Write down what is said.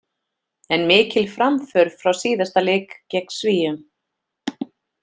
En mikil framför frá síðasta leik gegn Svíum.